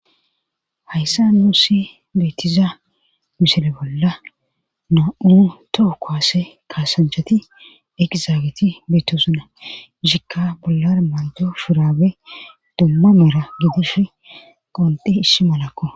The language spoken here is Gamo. Hayssa nuussi beettiza misile bolla na'u toho koase kaasanchati ekizaagiti beettosuna shikka bollar maljo firaabe dumma mera gegush qondi ishshi malakko.